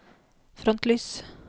frontlys